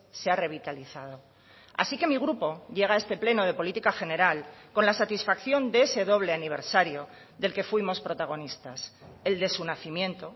se ha revitalizado así que mi grupo llega a este pleno de política general con la satisfacción de ese doble aniversario del que fuimos protagonistas el de su nacimiento